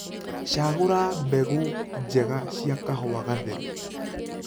Cagũra mbegũ njega cia kahũa gatheru.